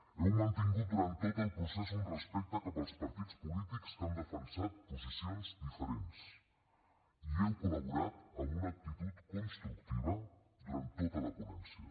heu mantingut durant tot el procés un respecte cap als partits polítics que han defensat posicions diferents i heu col·laborat amb una actitud constructiva durant tota la ponència